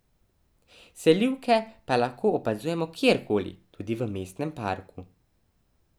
Selivke pa lahko opazujemo kjerkoli, tudi v mestnem parku.